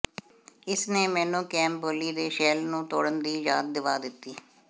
ਇਸ ਨੇ ਮੈਨੂੰ ਕ੍ਰੇਮ ਬ੍ਰੈਲੀ ਦੇ ਸ਼ੈੱਲ ਨੂੰ ਤੋੜਨ ਦੀ ਯਾਦ ਦਿਵਾ ਦਿੱਤੀ